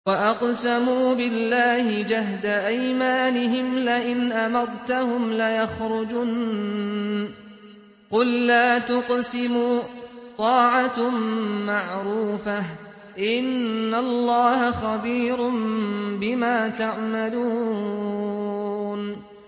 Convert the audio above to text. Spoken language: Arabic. ۞ وَأَقْسَمُوا بِاللَّهِ جَهْدَ أَيْمَانِهِمْ لَئِنْ أَمَرْتَهُمْ لَيَخْرُجُنَّ ۖ قُل لَّا تُقْسِمُوا ۖ طَاعَةٌ مَّعْرُوفَةٌ ۚ إِنَّ اللَّهَ خَبِيرٌ بِمَا تَعْمَلُونَ